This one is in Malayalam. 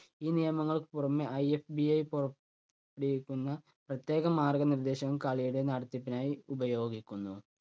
ഈ നിയമങ്ങൾക്ക് പുറമെ IFBA പുറ~പ്പെടുവിക്കുന്ന പ്രത്യേക മാർഗ നിർദേശങ്ങൾ കളിയുടെ നടത്തിപ്പിനായി ഉപയോഗിക്കുന്നു.